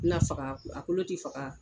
Na faga a kolo ti faga